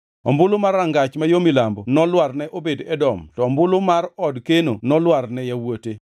Ombulu mar Rangach ma yo Milambo nolwar ne Obed-Edom, to ombulu mar od keno nolwar ne yawuote.